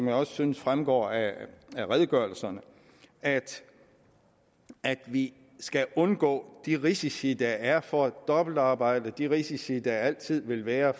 jeg også synes fremgår af redegørelserne at vi skal undgå de risici der er for dobbeltarbejde de risici som der altid vil være